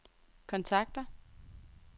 kontakter